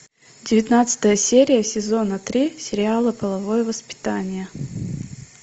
девятнадцатая серия сезона три сериала половое воспитание